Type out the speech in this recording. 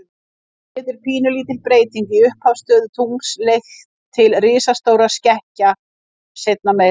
Þannig getur pínulítil breyting í upphafsstöðu tungls leitt til risastórra skekkja seinna meir.